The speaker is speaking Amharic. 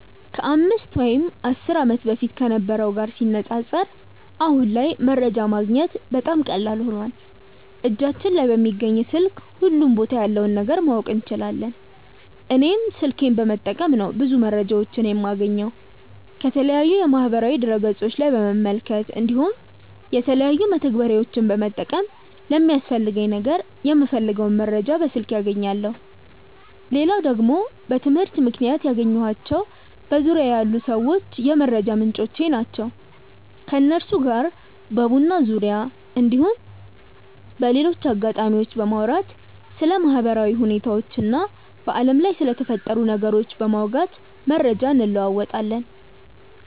ከ 5 ወይም 10 ዓመት በፊት ከነበረው ጋር ሲነጻጸር አሁን ላይ መረጃ ማግኘት በጣም ቀላል ሆኖዋል እጃችን ላይ በሚገኝ ስልክ ሁሉም ቦታ ያለውን ነገር ማወቅ እንችላለን። እኔም ስልኬን በመጠቀም ነው ብዙ መረጃዎችን የማገኘው። ከተለያዩ የማህበራዊ ድረ ገፆች ላይ በመመልከት እንዲሁም የተለያዩ መተግበሪያዎችን በመጠቀም ለሚያስፈልገኝ ነገር የምፈልገውን መረጃ በስልኬ አገኛለው። ሌላው ደግሞ በትምህርት ምክንያት ያገኘኳቸው በዙርያዬ ያሉ ሰዎች የመረጃ ምንጮቼ ናቸው። ከነሱ ጋር በቡና ዙርያ እንዲሁም በሌሎች አጋጣሚዎች በማውራት ስለ ማህበራዊ ሁኔታዎች እና በአለም ላይ ስለተፈጠሩ ነገሮች በማውጋት መረጃ እንለወጣለን።